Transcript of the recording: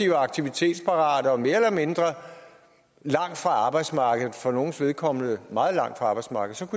er aktivitetsparate og mere eller mindre langt fra arbejdsmarkedet og for nogles vedkommende meget langt fra arbejdsmarkedet